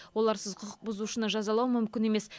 оларсыз құқық бұзушыны жазалау мүмкін емес